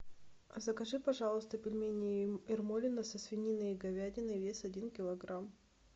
закажи пожалуйста пельмени ермолино со свининой и говядиной вес один килограмм